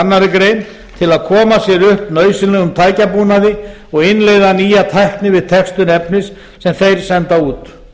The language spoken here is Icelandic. annarri grein til að koma sér upp nauðsynlegum tækjabúnaði og innleiða nýja tækni við textun efnis sem þeir senda út